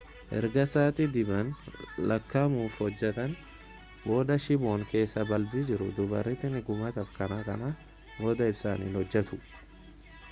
ergaa sa'aati dhibban lakka'amuuf hojjateen booda shiiboon keessa balbii jiru dhumarratti ni gubata kanaaf kana booda ibsaan hin hojjatu